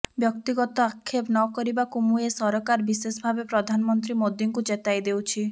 ବ୍ୟକ୍ତିଗତ ଆକ୍ଷେପ ନ କରିବାକୁ ମୁଁ ଏ ସରକାର ବିଶେଷଭାବେ ପ୍ରଧାନମନ୍ତ୍ରୀ ମୋଦିଙ୍କୁ ଚେତାଇ ଦେଉଛି